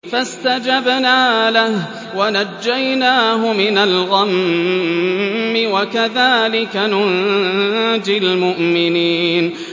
فَاسْتَجَبْنَا لَهُ وَنَجَّيْنَاهُ مِنَ الْغَمِّ ۚ وَكَذَٰلِكَ نُنجِي الْمُؤْمِنِينَ